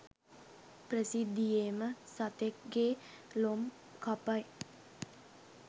ප්‍රසිද්ධියේම සතෙක්ගෙ ලොම් කපයි.